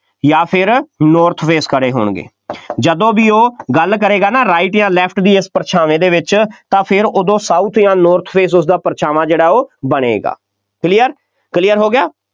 ਜਾਂ ਫੇਰ north face ਖੜ੍ਹੇ ਹੋੇਣਗੇ ਜਦੋਂ ਵੀ ਉਹ ਗੱਲ ਕਰੇਗਾ ਨਾ right ਜਾਂ left ਦੀ ਇਸ ਪਰਛਾਵੇਂ ਦੇ ਵਿੱਚ ਤਾਂ ਫੇਰ ਉਦੋਂ south ਜਾਂ north face ਉਸਦਾ ਪਰਛਾਵਾਂ ਜਿਹੜਾ ਉਹ ਬਣੇਗਾ, clear clear ਹੋ ਗਿਆ,